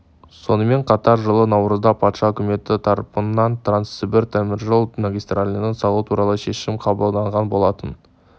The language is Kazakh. сонымен қатар жылы наурызда патша үкіметі тарапынан транссібір теміржол магистралін салу туралы шешім қабылданған болатын